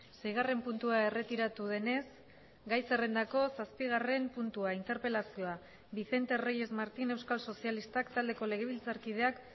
seigarren puntua erretiratu denez gai zerrendako zazpigarren puntua interpelazioa vicente reyes martín euskal sozialistak taldeko legebiltzarkideak